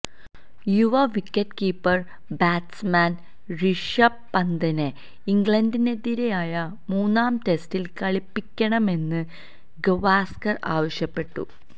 യുവ wicket keeper batsman Rishabh പന്തിനെ ഇംഗ്ലണ്ടിനെതിരായ മന്നാം ടെസ്റ്റില് കളിപ്പിക്കണമെന്ന് ഗവാസ്കര് ആവശ്യപ്പെട്ടു